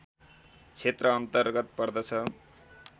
क्षेत्र अन्तर्गत पर्दछ